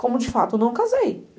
Como de fato eu não casei.